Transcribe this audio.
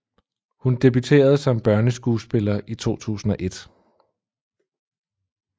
Hun debuterede som børneskuespiller i 2001